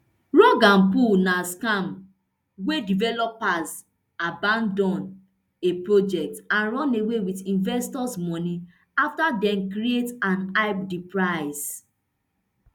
rug and pull na scam wia developers abandon a project and run away wit investors moni afta dem create and hype di price